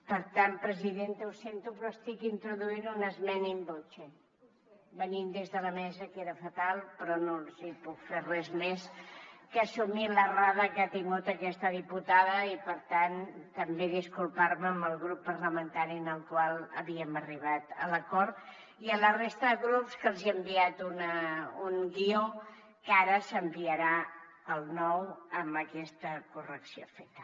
per tant presidenta ho sento però estic introduint una esmena in voce venint des de la mesa queda fatal però no els hi puc fer res més que assumir l’errada que ha tingut aquesta diputada i per tant també disculpar me amb el grup parlamentari amb el qual havíem arribat a l’acord i amb la resta de grups que els hem enviat un guió que ara s’enviarà el nou amb aquesta correcció feta